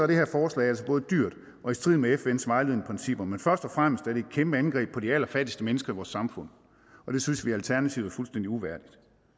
det her forslag altså både dyrt og i strid med fns vejledende principper men først og fremmest er det et kæmpe angreb på de allerfattigste mennesker i vores samfund og det synes vi i alternativet er fuldstændig uværdigt